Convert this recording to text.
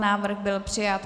Návrh byl přijat.